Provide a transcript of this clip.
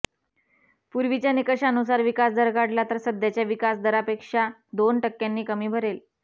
पूर्वीच्या निकषानुसार विकासदर काढला तर सध्याच्या विकासदरापेक्षा दोन टक्क्यांनी कमी भरेल